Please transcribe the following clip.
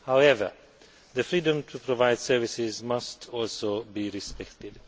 However, the freedom to provide services must also be respected.